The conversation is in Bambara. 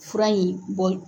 Fura in bɔ